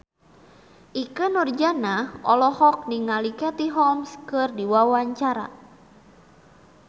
Ikke Nurjanah olohok ningali Katie Holmes keur diwawancara